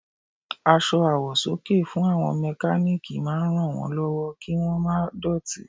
Aṣọ àwọ̀sọ́kè fún àwọn mẹkálíkì máa ràn wón lọ́wọ́ kí wón má dọ̀tí.